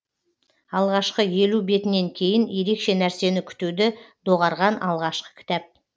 алғашқы елу бетінен кейін ерекше нәрсені күтуді доғарған алғашқы кітап